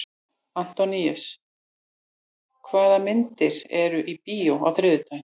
Antóníus, hvaða myndir eru í bíó á þriðjudaginn?